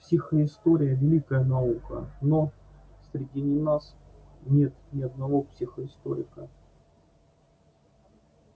психоистория великая наука но среди нас нет ни одного психоисторика